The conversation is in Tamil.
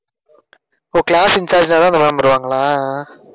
ஓஹ் class incharge தான் இந்த ma'am வருவங்களா